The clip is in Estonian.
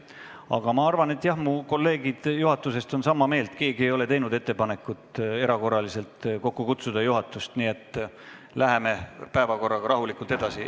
Aga ma arvan, et jah, mu kolleegid juhatusest on minuga sama meelt – keegi neist ei ole teinud ettepanekut juhtatust erakorraliselt kokku kutsuda, nii et läheme päevakorraga rahulikult edasi.